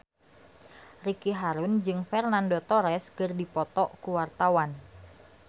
Ricky Harun jeung Fernando Torres keur dipoto ku wartawan